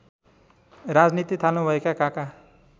राजनीति थाल्नुभएका काका